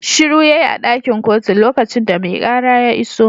Shiru yayi a dakin kotun lokacin da mai kara ya iso